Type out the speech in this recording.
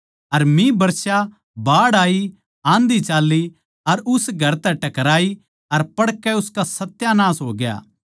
अर मिह बरसया बाढ़ आयी आंधी चाल्ली अर उस घर तै टकराई अर पड़कै उसका सत्यानास होग्या